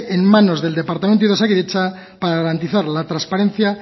en manos del departamento y de osakidetza para garantizar la transparencia